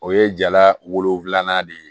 O ye jala wolonfilanan de ye